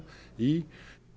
í